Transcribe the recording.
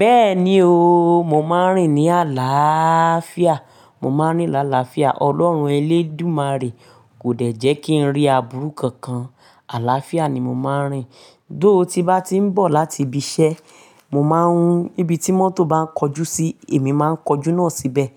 Bẹ́ẹ̀ni o, mo máa ń rìn ní àlááfiá, mo máa ń rìn lálàáfíà. Ọlọ́run elédùmarè kò dẹ̀ jẹ́ kí n rí aburú kankan, àláfíà ni mo máa ń rìn. Though, tí n bá ti ń bọ̀ láti ibi iṣẹ́, mo máa ń, Ibi tí mọ́tò bá ń kọjú sí, èmi máa ń kọjú náà síbẹ̀.